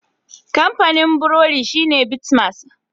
Kamfanin burodi shine Bitmas.